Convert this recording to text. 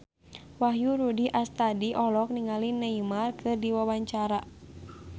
Wahyu Rudi Astadi olohok ningali Neymar keur diwawancara